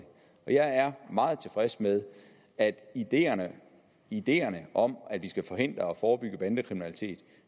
og jeg er meget tilfreds med at ideerne ideerne om at vi skal forhindre og forebygge bandekriminalitet